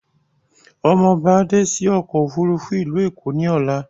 Ọmọ ọba dé sí òkò òfúrùfú ìlú Èkó ní Ọlá